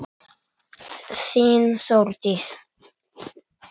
Þín, Þórdís.